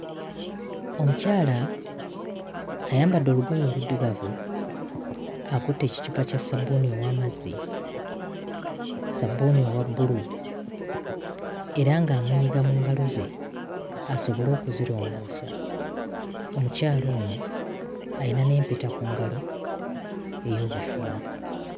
Omukyala ayambadde olugoye oluddugavu akutte ekicupa kya ssabbuuni ow'amazzi, ssabuuni owa bbulu era ng'amunyiga mu ngalo ze asobole okuzirongoosa, omukyala ono ayina n'empeta ku ngalo ey'obufumbo.